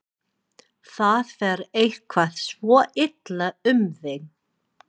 Það fer eitthvað svo illa um þig.